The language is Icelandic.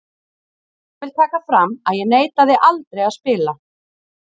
En ég vil taka fram að ég neitaði aldrei að spila.